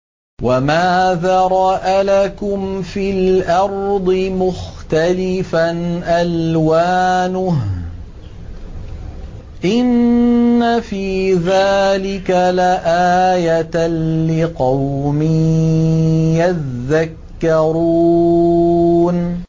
وَمَا ذَرَأَ لَكُمْ فِي الْأَرْضِ مُخْتَلِفًا أَلْوَانُهُ ۗ إِنَّ فِي ذَٰلِكَ لَآيَةً لِّقَوْمٍ يَذَّكَّرُونَ